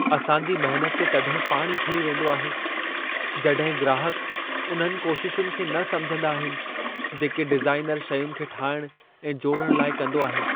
असां जी महनत ते तॾहिं पाणी फिरी वेंदो आहे, जॾहिं ग्राहक उन्हनि कोशिशुनि खे न समिझंदा आहिनि, जेके डिज़ाइनर शयुनि खे ठाहिण ऐं जोड़ण लाइ कंदो आहे।